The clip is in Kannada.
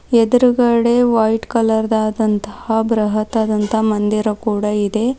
ಎದುರುಗಡೆ ವೈಟ್ ಕಲರ್ ದಾದಂತಹ ಬೃಹತದಂತ ಮಂದಿರ ಕೂಡ ಇದೆ.